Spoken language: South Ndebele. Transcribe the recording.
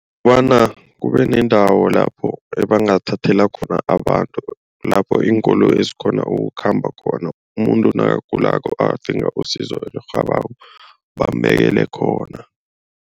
Kukobana kube nendawo lapho ebangathathela khona abantu. Lapho iinkoloyi ezikghona ukukhamba khona umuntu nakagulako adinga usizo elirhabako bambekele khona.